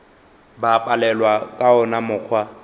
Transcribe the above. ba palelwa ka wona mokgwa